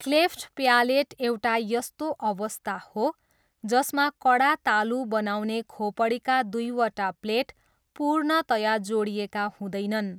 Cleft palate एउटा यस्तो अवस्था हो जसमा कडा तालु बनाउने खोपडीका दुईवटा प्लेट पूर्णतया जोडिएका हुँदैनन्।